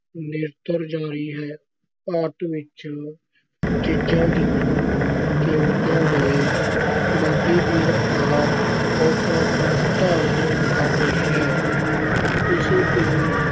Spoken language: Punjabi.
ਨਿਰੰਤਰ ਜਾਰੀ ਹੈ। ਭਾਰਤ ਵਿੱਚ ਚੀਜ਼ਾਂ ਦੀਆਂ ਕੀਮਤਾਂ ਦੇ ਵਾਧੇ ਦੀ ਰਫ਼ਤਾਰ ਖ਼ੌਫ਼ਨਾਕ ਰੂਪ ਧਾਰਨ ਕਰ ਗਈ ਹੈ। ਇਸ ਦੇ